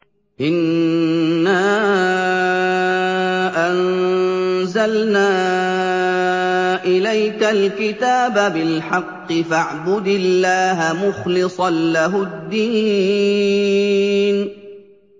إِنَّا أَنزَلْنَا إِلَيْكَ الْكِتَابَ بِالْحَقِّ فَاعْبُدِ اللَّهَ مُخْلِصًا لَّهُ الدِّينَ